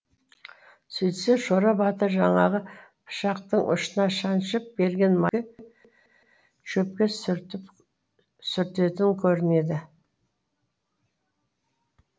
сөйтсе шора батыр жаңағы пышақтың ұшына шаншып берген майын шөпке сүртетін көрінеді